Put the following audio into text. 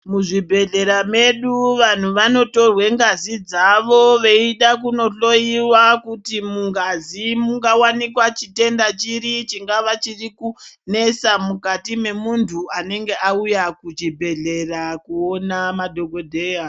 Muzvibhedhlera medu, vanhu vanotorwe ngazi dzavo veida kunohloiwa kuti mungazi mungawanikwa chitenda chiri, chingava chiri kunetsa mukati memuntu anenge auya kuchibhedhlera kuona madhokodheya.